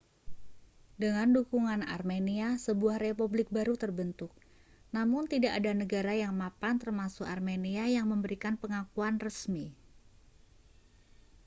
dengan dukungan armenia sebuah republik baru terbentuk namun tidak ada negara yang mapan termasuk armenia yang memberikan pengakuan resmi